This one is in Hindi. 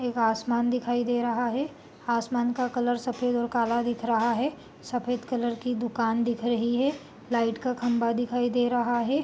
एक आसमान दिखाई दे रहा है आसमान का कलर सफ़ेद और काला दिख रहा है सफ़ेद कलर की दुकान दिख रही है लाइट का खम्भा दिखाई दे रहा है |